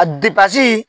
A depase